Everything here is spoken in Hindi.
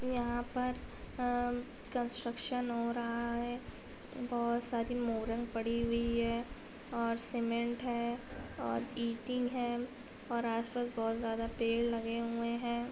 यहाँ पर अ कन्स्ट्रक्शन हो रहा है| बहुत सारी मुरण पड़ी हुई है और सिमेन्ट है और ईटे है और आस-पास बहुत सारे पेड़ लगे हुए हैं।